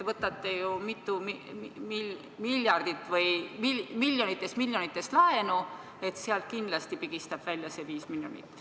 Võtate ju mitu miljardit või miljonites-miljonites laenu, sealt kindlasti pigistab välja selle viis miljonit.